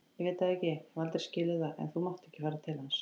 Ég veit það ekki, hef aldrei skilið það, en þú mátt ekki fara til hans